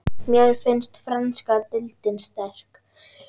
Mér finnst franska deildin sterk.